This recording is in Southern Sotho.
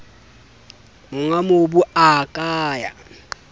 monga mobu a ka ya